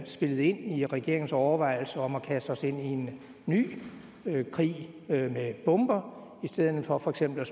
spillet ind i regeringens overvejelser om at kaste os ind i en ny krig med bomber i stedet for for eksempel